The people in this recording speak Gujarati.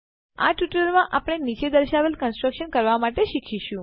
આ ટ્યુટોરીયલમાં આપણે નીચે દર્શાવેલને કંસ્ટ્રક્ટ કરવા માટે શીખીશું